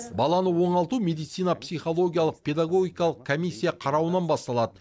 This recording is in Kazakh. баланы оңалту медицина психологиялық педагогикалық комиссия қарауынан басталады